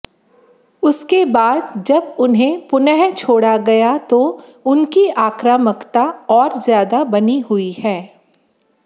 उसके बाद जब इन्हें पुनः छोड़ा गया तो उनकी आक्रामकता और ज्यादा बनी हुई है